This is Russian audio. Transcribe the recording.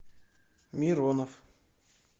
миронов